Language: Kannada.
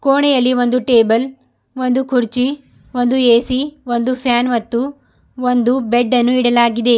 ಕೋಣೆಯಲ್ಲಿ ಒಂದು ಟೇಬಲ್ ಒಂದು ಕುರ್ಚಿ ಒಂದು ಎ_ಸಿ ಒಂದು ಫ್ಯಾನ್ ಮತ್ತು ಒಂದು ಬೆಡ್ ಅನ್ನು ಇಡಲಾಗಿದೆ.